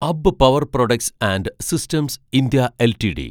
അബ്ബ് power products and systems India LTD